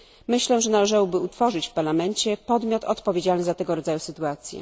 Myślę, że należałoby utworzyć w Parlamencie podmiot odpowiedzialny za tego rodzaju sytuacje.